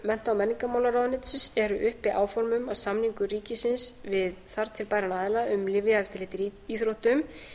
mennta og menningarmálaráðuneytisins eru uppi áform um að samningur ríkisins við þar til bæran aðila um lyfjaeftirlit í íþróttum